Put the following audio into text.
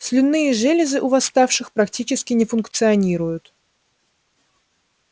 слюнные железы у восставших практически не функционируют